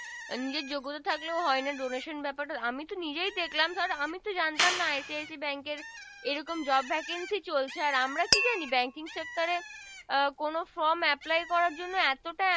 নিজের যোগ্যতা থাকলেও হয় না Donation ব্যাপার টা আমি তো নিজেই দেখলাম ধোর আমি তো জানতাম না ICIC bank এর এই রকম Job Vacancy চলছে আর আমরা কি জানি Banking Sector এ আহ কোন From Apply করার জন্য এতো টা